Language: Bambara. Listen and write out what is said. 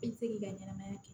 I bɛ se k'i ka ɲɛnamaya kɛ